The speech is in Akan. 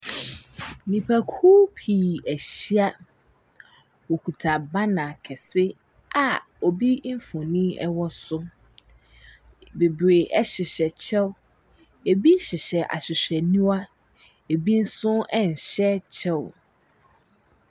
Nnipakuo pii ahyia, wɔkita banner kɛse a obi mfonin wɔ so, bebree hyehyɛ kyɛw, bi nso hyehyɛ ahwehwɛniwa, bi nso nhyɛ kyɛw.